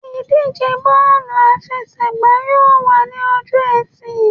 Ìdíje bọ́ọ̀lù àfẹsẹ̀gbá yóò wà ní ọjọ́-ẹtì.